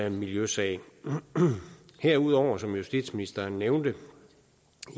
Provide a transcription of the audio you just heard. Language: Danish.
en miljøsag herudover som justitsministeren nævnte